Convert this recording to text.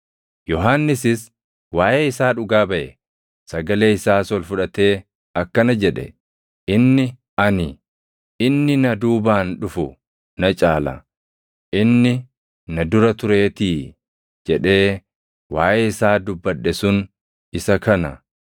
Yohannisis waaʼee isaa dhugaa baʼe. Sagalee isaas ol fudhatee akkana jedhe; “Inni ani, ‘Inni na duubaan dhufu na caala; inni na dura tureetii’ jedhee waaʼee isaa dubbadhe sun isa kana.”